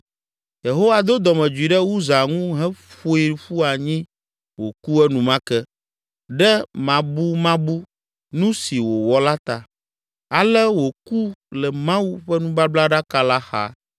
Yehowa do dɔmedzoe ɖe Uza ŋu heƒoe ƒu anyi wòku enumake ɖe mabumabu nu si wòwɔ la ta, ale wòku le Mawu ƒe nubablaɖaka la xa.